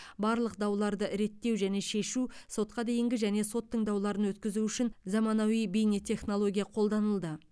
барлық дауларды реттеу және шешу сотқа дейінгі және сот тыңдауларын өткізу үшін заманауи бейнетехнология қолданылды